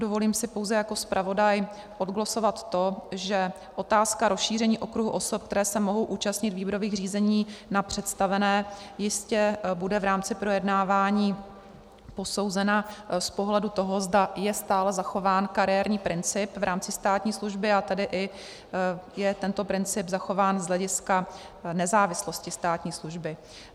Dovolím si pouze jako zpravodaj odglosovat to, že otázka rozšíření okruhu osob, které se mohou účastnit výběrových řízení na představené, jistě bude v rámci projednávání posouzena z pohledu toho, zda je stále zachován kariérní princip v rámci státní služby, a tedy i je tento princip zachován z hlediska nezávislosti státní služby.